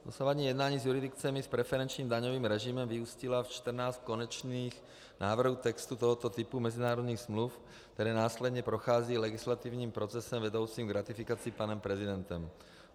Dosavadní jednání s jurisdikcemi s preferenčním daňovým režimem vyústila ve 14 konečných návrhů textu tohoto typu mezinárodních smluv, které následně prochází legislativním procesem vedoucím k ratifikaci panem prezidentem.